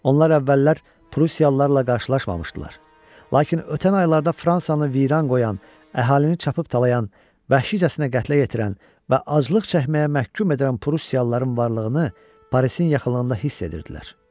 Onlar əvvəllər Prusiyalılarla qarşılaşmamışdılar, lakin ötən aylarda Fransanı viran qoyan, əhalini çapıb talayan, vəhşicəsinə qətlə yetirən və aclıq çəkməyə məhkum edən Prusiyalıların varlığını Parisin yaxınlığında hiss edirdilər.